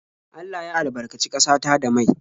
Allah ya albarkaci ƙasa ta da mai.